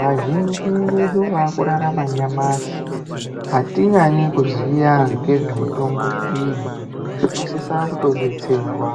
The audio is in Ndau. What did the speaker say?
vazhinji vedu vakurarama nyamashi atinyanyi kuziya ngezve mutombo iyi tinosisa kutodetserwa